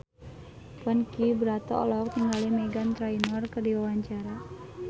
Ponky Brata olohok ningali Meghan Trainor keur diwawancara